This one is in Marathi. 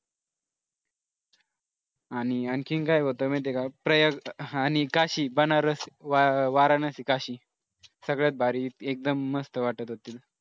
आणि आणखीन काय होतं माहिती आहे का प्रयर्थ आणि काशी बनारस वाराणसी काशी सगळ्यात भारी एकदम मस्त वाटत होती.